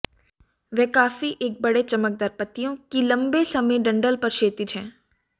वह काफी एक बड़े चमकदार पत्तियों कि लंबे समय डंठल पर क्षैतिज हैं